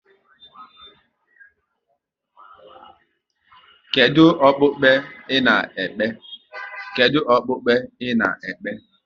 Kedụ okpukpe ị na-ekpe?